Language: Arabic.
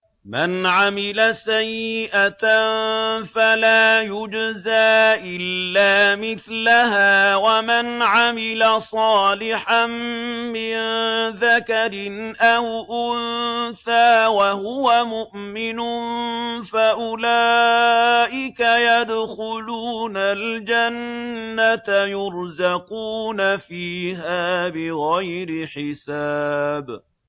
مَنْ عَمِلَ سَيِّئَةً فَلَا يُجْزَىٰ إِلَّا مِثْلَهَا ۖ وَمَنْ عَمِلَ صَالِحًا مِّن ذَكَرٍ أَوْ أُنثَىٰ وَهُوَ مُؤْمِنٌ فَأُولَٰئِكَ يَدْخُلُونَ الْجَنَّةَ يُرْزَقُونَ فِيهَا بِغَيْرِ حِسَابٍ